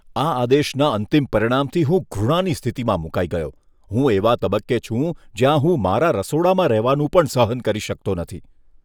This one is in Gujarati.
આ આદેશના અંતિમ પરિણામથી હું ઘૃણાની સ્થિતિમાં મુકાઈ ગયો. હું એવા તબક્કે છું જ્યાં હું મારા રસોડામાં રહેવાનું પણ સહન કરી શકતો નથી.